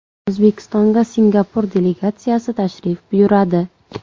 O‘zbekistonga Singapur delegatsiyasi tashrif buyuradi.